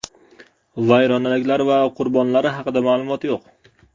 Vayronaliklar va qurbonlari haqida ma’lumot yo‘q.